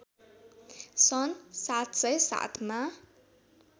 सन् ७०७ मा